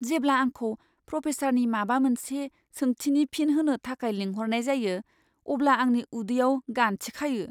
जेब्ला आंखौ प्रफेसारनि माबा मोनसे सोंथिनि फिन होनो थाखाय लिंहरनाय जायो अब्ला आंनि उदैयाव गान्थि खायो।